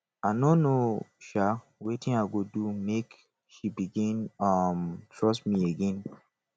i no know um wetin i go do make she begin um trust me again